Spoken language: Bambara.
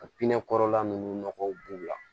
Ka pinɛ kɔrɔla ninnu nɔgɔw b'u la